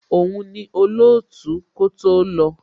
Òun ni olootu kó tó lọ.